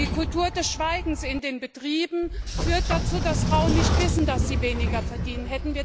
Die Kultur des Schweigens in den Betrieben führt dazu, das Frauen nicht wissen, dass sie weniger verdienen.